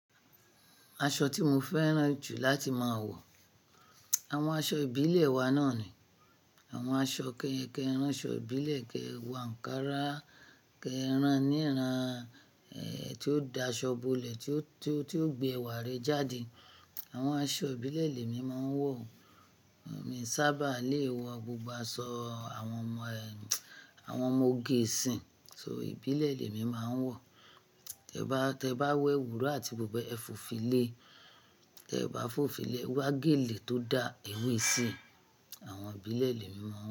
Aṣọ tí mo fẹ́ràn jù láti máa wọ, àwọn aṣọ ìbílẹ̀ wa náà ni. Àwọn aṣọ kẹ́ kẹ́, aṣọ ìbílẹ̀ kẹ́wàá, nká rà kẹ́rán níràn, tí ó da, aṣọ bolẹ̀ tí ó, tí ó, tí ó gbe ewà rè jáde. Àwọn aṣọ ìbílẹ̀ lè mi máa ń wọ̀. Mi sábà lè wọ gbogbo aṣọ àwọn ọmọ, àwọn ọmọ ògè ìsìn. So ìbílẹ̀ lè mi máa ń wọ̀. Tẹ bá, tẹ bá wo ewú iro àti buba é fò̀fílẹ̀, tẹ bá fòfílẹ̀ wá gèlè tó da, ewe si àwọn ìbílẹ̀ lè mi máa ń wọ̀